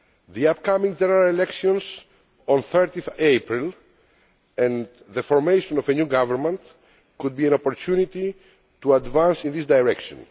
The upcoming general elections on 30April, and the formation of a new government, could be an opportunity to advance in this direction.